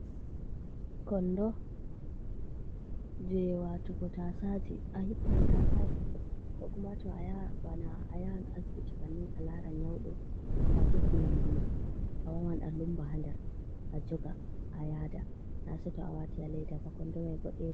Klndo je watugo tasaje, a hippan tasaje ko kuma to bana a yahan asbiti bannin a laran nyaudo, to a defi nyamduma a wawan a lumba ha ndar a joga a yaada nase to a wati a laida ba kondo mai boɗejum.